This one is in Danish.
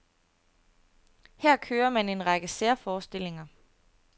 Her kører man en række særforestillinger.